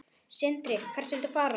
Sindri: Hvert viltu fara?